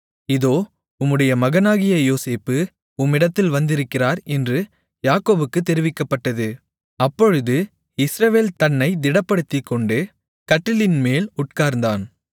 இதோ உம்முடைய மகனாகிய யோசேப்பு உம்மிடத்தில் வந்திருக்கிறார் என்று யாக்கோபுக்கு தெரிவிக்கப்பட்டது அப்பொழுது இஸ்ரவேல் தன்னை திடப்படுத்திக்கொண்டு கட்டிலின்மேல் உட்கார்ந்தான்